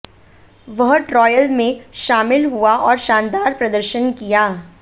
वह ट्रॉयल में शामिल हुआ और शानदार प्रदर्शन किया